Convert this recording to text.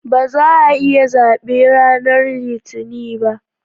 Ba za'a yi zabe ranar Litinin ba